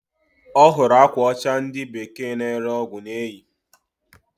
Ọhụrụ akwa ocha ndi bekee na ere ọgwụ na-eyi.